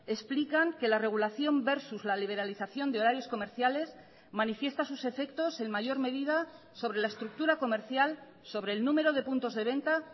explican que la regulación versus la liberalización de horarios comerciales manifiesta sus efectos en mayor medida sobre la estructura comercial sobre el número de puntos de venta